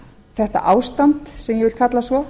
þetta ástand sem ég vil kalla svo